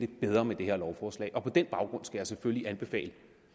bedre med det her lovforslag på den baggrund skal jeg selvfølgelig anbefale